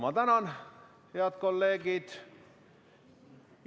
Ma tänan, head kolleegid!